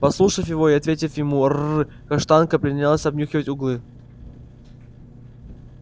послушав его и ответив ему р каштанка принялась обнюхивать углы